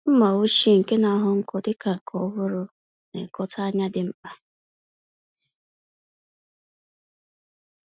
Mma ochie nkea na-aghọ nkọ dịka nke ọhụrụ -nekọta ányá dị mkpa.